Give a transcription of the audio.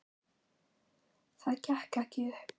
Það gekk ekki upp.